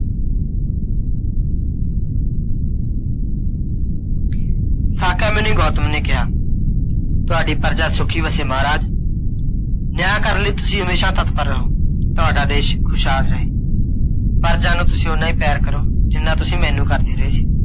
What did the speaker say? ਸਾਕਯ ਮੁਨੀ ਗੌਤਮ ਨੇ ਕਿਹਾ, ਤੁਹਾਡੀ ਪ੍ਰਜਾ ਸੁੱਖੀ ਵਸੇ ਮਹਾਰਾਜ । ਨਿਆਂ ਕਰਨ ਲਈ ਤੁਸੀਂ ਹਮੇਸ਼ਾ ਤੱਤਪਰ ਰਹੋ। ਤੁਹਾਡਾ ਦੇਸ਼ ਖੁਸ਼ਹਾਲ ਰਹੇ। ਪ੍ਰਜਾ ਨੂੰ ਤੁਸੀਂ ਓਨਾ ਹੀ ਪਿਆਰ ਕਰੋ, ਜਿੰਨਾ ਤੁਸੀਂ ਮੈਨੂੰ ਕਰਦੇ ਰਹੇ ਸੀ।